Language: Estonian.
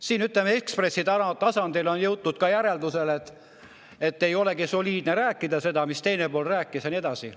Siin, ütleme, Ekspressi tasandil on jõutud järeldusele, et ei olegi soliidne rääkida sellest, mida teine pool rääkis ja nii edasi.